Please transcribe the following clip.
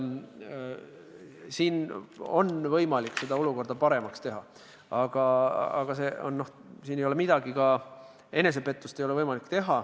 Siin on võimalik seda olukorda paremaks teha, aga enesepettus ei ole võimalik.